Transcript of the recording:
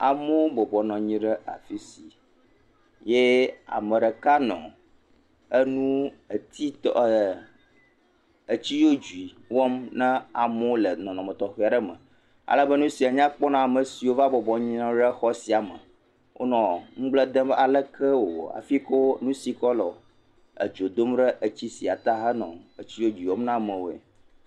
Amewo bɔbɔ nɔ anyi ɖe afi si, yee ame ɖeka nɔ enu, etiiitɔ, ɛɛɛɛ, etsi dzodzoe wɔm na amewo le nɔnɔme tɔxɛ aɖe me. ale nu sia nya kpɔ na ame siwo va bɔbɔ anyi nɔ ɖe xɔ sia me. Wonɔ ŋugblẽ dem be ale ke wòwɔ hafi kɔ nu si kɔ lɔ edzo dom ɖe etsi sia te henɔ etsi dzodzoe wɔm na amewoe.